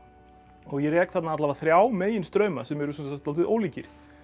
og ég rek þarna alla vega þrjá meginstrauma sem eru sem sagt dálítið ólíkir